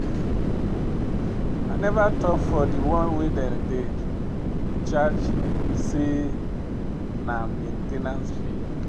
I never talk for de one wey dem dey charge say na main ten ce fee.